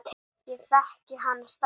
Ég þekkti hana strax.